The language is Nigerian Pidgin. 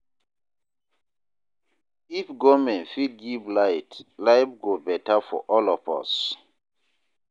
If government fit give light, life go better for all of us"